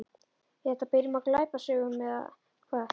Er þetta byrjun á glæpasögu eða hvað?